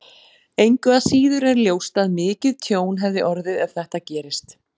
Engu að síður er ljóst að mikið tjón hefði orðið ef þetta gerist.